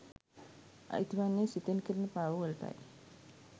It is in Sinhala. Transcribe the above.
අයිති වන්නේ සිතෙන් කෙරෙන පව්වලටයි.